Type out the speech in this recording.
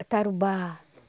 É tarubá.